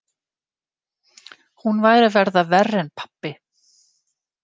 Hún væri að verða verri en pabbi.